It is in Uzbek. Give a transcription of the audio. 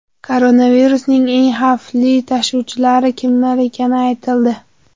Koronavirusning eng xavfli tashuvchilari kimlar ekani aytildi.